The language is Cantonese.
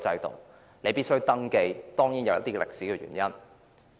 當然，這當中有一些歷史原因。